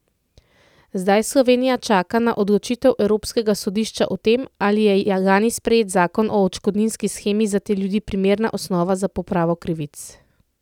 Zdaj Slovenija čaka na odločitev evropskega sodišča o tem, ali je lani sprejet zakon o odškodninski shemi za te ljudi primerna osnova za popravo krivic.